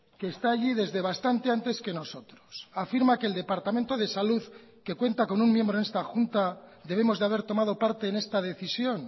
que está allí desde bastante antes que nosotros afirma que el departamento de salud que cuenta con un miembro en esta junta debemos de haber tomado parte en esta decisión